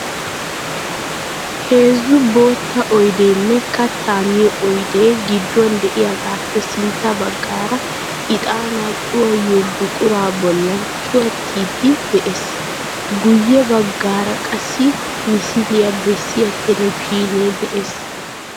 Heezzu bootta oydeenne katta miyo oydee gidduwan de"iyaagaappe sintta baggaara ixaanaa cuwaayiyo buquraa bollan cuwattiiddi de'ees. Guyye baggaara qassi misiliya bessiya telebizhzhiinee de'ees.